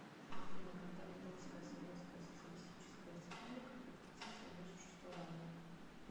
афина когда литовская советская социалистическая республика прекратил свое существование